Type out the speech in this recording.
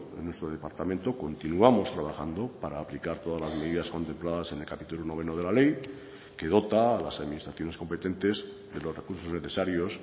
en nuestro departamento continuamos trabajando para aplicar todas las medidas contempladas en el capítulo noveno de la ley que dota a las administraciones competentes de los recursos necesarios